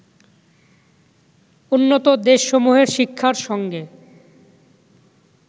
উন্নত দেশসমূহের শিক্ষার সঙ্গে